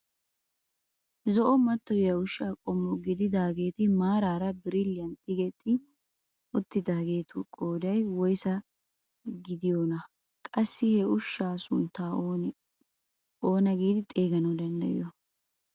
Zo'o mattoyiyaa ushshaa qommo gididageti maaraara birilliyan tigetti uttidaageti qooday woyssa getettiyoonaa? qassi ha ushshaa sunttaa oona giidi xeeganawu danddayiyoo?